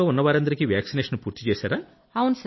ఉన్నవారందరికీ vaccination పూర్తి చేశారా